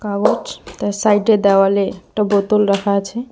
ও তার সাইট এ দেওয়ালে একটা বোতল রাখা আছে।